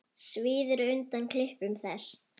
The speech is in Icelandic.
Svíður undan klipum þess.